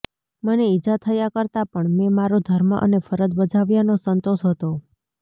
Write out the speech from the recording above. મને ઇજા થયા કરતા પણ મેં મારો ધર્મ અને ફરજ બજાવ્યાનો સંતોષ હતો